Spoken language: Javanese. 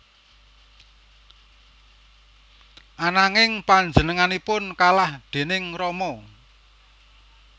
Ananging panjenenganipun kalah déning Rama